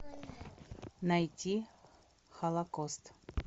найти холокост